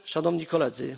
Szanowni Koledzy!